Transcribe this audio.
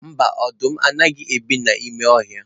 Mba, ọdụm anaghị ebi n'ime ọhịa